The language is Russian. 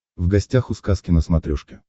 в гостях у сказки на смотрешке